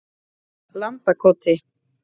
Landakoti